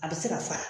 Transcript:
A bɛ se ka fara